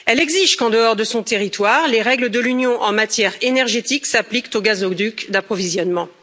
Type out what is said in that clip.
Elle exige qu'en dehors de son territoire, les règles de l'Union en matière énergétique s'appliquent aux gazoducs d'approvisionnement.